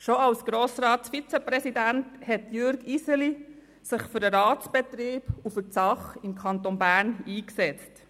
Schon als Grossratsvizepräsident hat sich Jürg Iseli für den Ratsbetrieb und für die Sache im Kanton Bern eingesetzt.